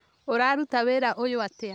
Ũraruta wĩra ũyũatĩa?